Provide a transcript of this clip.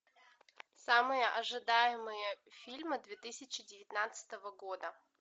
самые ожидаемые фильмы две тысячи девятнадцатого года